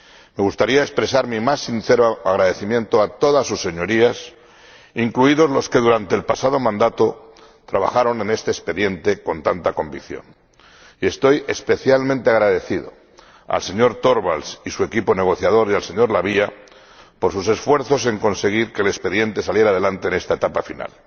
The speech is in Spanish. Me gustaría expresar mi más sincero agradecimiento a todas sus Señorías, incluidos a los que durante el pasado mandato trabajaron en este expediente con tanta convicción, y estoy especialmente agradecido al señor Torvalds y su equipo negociador y al señor La Via por sus esfuerzos en conseguir que el expediente saliera adelante en esta etapa final.